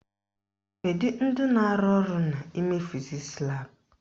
Kedu ndị na-arụ ọrụ n'ime fizisi laabụ?